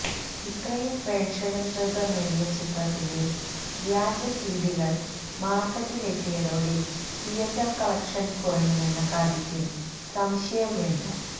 ഇത്രയും പ്രേക്ഷക ശ്രദ്ധ നേടിയ ചിത്രത്തിന്റെ വ്യാജ സിഡികൾ മാർക്കറ്റിലെത്തിയതോടെ തിയറ്റർ കളക്ഷൻ കുറയുമെന്ന കാര്യത്തിൽ സംശയം വേണ്ട